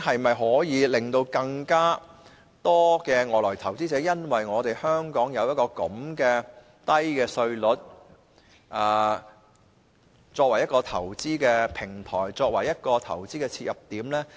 會否有更多外來投資者因為香港的低稅率，選擇香港為投資平台或投資切入點？